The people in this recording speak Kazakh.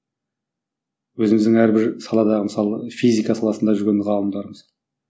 өзіміздің әрбір саладағы мысалы физика саласында жүрген ғалымдарымыз